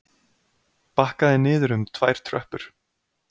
Bakkaði niður um tvær tröppur.